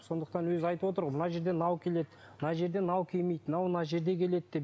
сондықтан өзі айтып отыр ғой мына жерден мынау келеді мына жерде мынау келмейді мынау мына жерде келеді деп